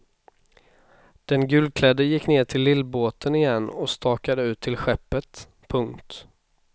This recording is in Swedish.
Den gulklädde gick ner till lillbåten igen och stakade ut till skeppet. punkt